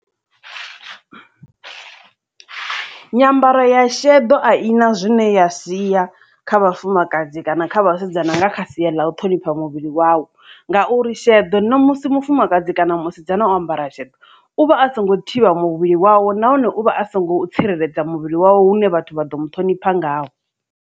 Nyambaro ya shedo a ina zwine ya siya kha vhafumakadzi kana kha vhasidzana nga kha sia ḽa u ṱhonipha muvhili wau ngauri sheḓo ṋamusi mufumakadzi kana musidzana o ambara sheḓo uvha a so ngo thivha muvhili wawe nahone uvha a songo tsireledza muvhili wawe hune vhathu vha ḓo muṱhonifha ngao.